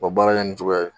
U bɛ baara kɛ nin cogoya ye